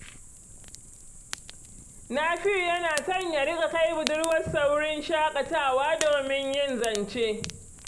Nafi’u yana son ya riƙa kai budurwarsa wurin shaƙatawa domin yin zance.